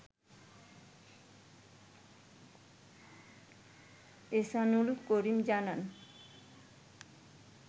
ইহসানুল করিম জানান